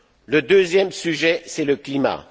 sens. Le deuxième sujet, c'est le climat.